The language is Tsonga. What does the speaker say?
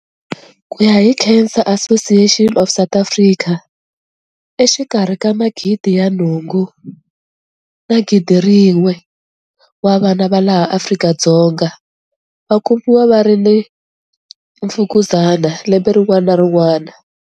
Ku ya hi Cancer Association of South Africa, exikarhi ka 800 na 1 000 wa vana va laha Afrika-Dzonga va kumiwa va ri na mfukuzana lembe rin'wana na rin'wana.